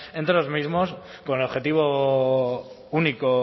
entre los mismos con el objetivo único